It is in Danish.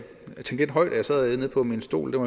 tænke lidt højt jeg sad nede på min stol og